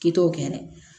K'i to o kɛ dɛ